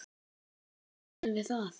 Nei, gerðum við það?